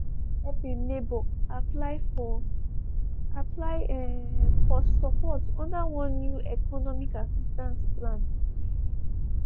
e bin help im neighbor apply for apply for support under one new economic assistance plan.